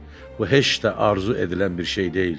Bu heç də arzu edilən bir şey deyildi.